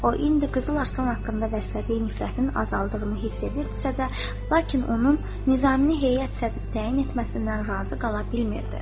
O indi Qızıl Arslan haqqında bəslədiyi nifrətin azaldığını hiss edirdisə də, lakin onun Nizamini Heyət sədri təyin etməsindən razı qala bilmirdi.